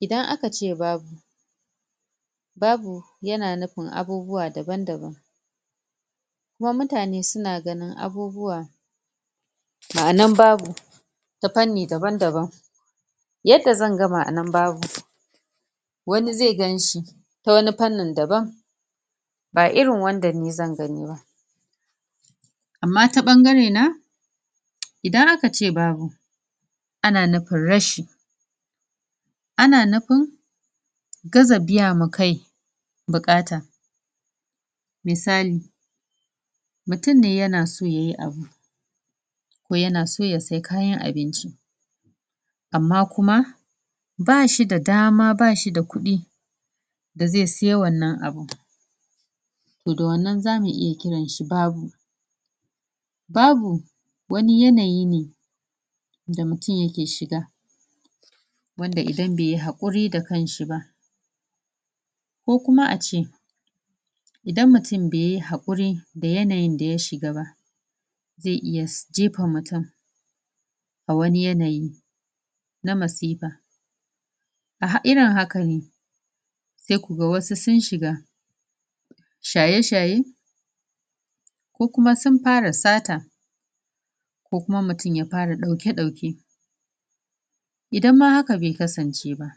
Idan aka ce babu. Babu, ya na nufin abubuwa daban-daban. Kuma mutane suna ganin abubuwa, ma'anan babu ta fanni daban-daban. Yadda zan ga ma'anan babu wani zai ganshi ta wani fannin daban. Ba irin wanda ni zan gani ba. Amma ta ɓangare idan aka ce babu ana nufin rashi. Ana nufin, gaza biya ma kai buƙata. Misali; Mutum ne ya na so yayi abu, ko ya na so ya sayi kayan abinci, amma kuma ba shi da dama, ba shi da kuɗi da zai siya wannan abun. To da wannan zamu iya kiran shi babu. Babu, wani yanayi ne da mutum ya ke shiga, wanda idan bai yi haƙuri da kanshi ba. Ko kuma ace idan mutum bai yi haƙuri da yanayin da ya shiga ba, zai iya jefa mutum, a wani yanayi na masifa. A ha, a irin haka ne sai ku ga wasu sun shiga shaye-shaye ko kuma sun fara sata, ko kuma mutum ya fara ɗauke-ɗauke. Idan ma haka bai kasance ba